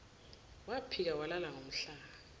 waphika walala ngomhlane